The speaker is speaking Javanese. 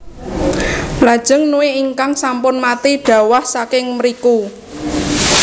Lajeng nue ingkang sampun mati dhawah saking mriku